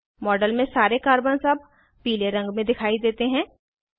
model में सारे carbons अब पीले रंग में दिखाई देते हैं